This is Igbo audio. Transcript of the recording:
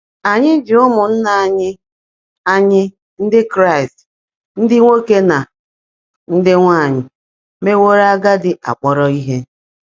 Ànyị́ jị́ ụ́mụ́nnaá ányị́ ányị́ Ndị́ Kráịst ndị́ nwòké nà ndị́ nwáanyị́ meèwóró ágádị́ ákpọ́rọ́ íhe?